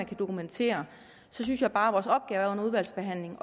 kan dokumenteres så synes jeg bare at vores opgave under udvalgsbehandlingen